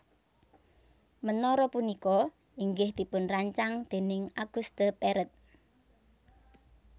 Menara punika inggih dipunrancang déning Auguste Perret